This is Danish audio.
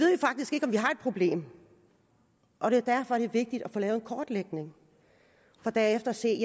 problem og det er derfor det er vigtigt at få lavet en kortlægning for derefter at se